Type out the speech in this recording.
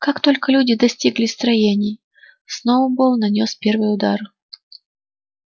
как только люди достигли строений сноуболл нанёс первый удар